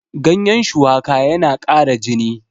ganyen shuwaka yana ƙara jini